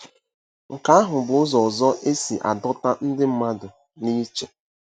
Nke ahụ bụ ụzọ ọzọ isi adọta ndị mmadụ n'iche.